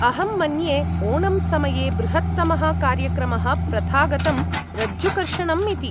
अहं मन्ये ओणम् समये बृहत्तमः कार्यक्रमः प्रथागतं रज्जुकर्षणम् इति।